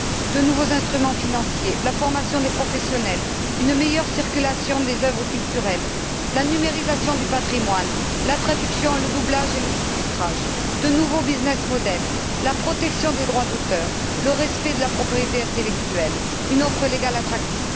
de nouveaux instruments financiers, la formation des professionnels, une meilleure circulation des œuvres culturelles, la numérisation du patrimoine, la traduction, le doublage et le sous titrage, de nouveaux modèles d'entreprises, la protection des droits d'auteur, le respect de la propriété intellectuelle, une offre légale attrayante.